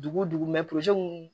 Dugu dugu